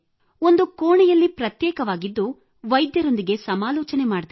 ಒಂದು ಕೋಣೆಯಲ್ಲಿ ಪ್ರತ್ಯೇಕವಾಗಿದ್ದು ವೈದ್ಯರೊಂದಿಗೆ ಸಮಾಲೋಚನೆ ಮಾಡಿದೆ